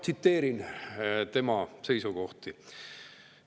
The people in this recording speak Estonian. Tsiteerin tema seisukohti.